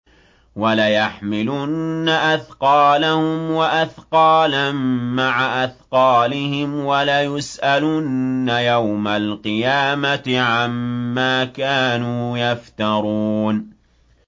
وَلَيَحْمِلُنَّ أَثْقَالَهُمْ وَأَثْقَالًا مَّعَ أَثْقَالِهِمْ ۖ وَلَيُسْأَلُنَّ يَوْمَ الْقِيَامَةِ عَمَّا كَانُوا يَفْتَرُونَ